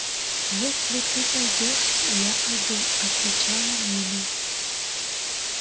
если ты пойдёшь и я пойду отвечала нина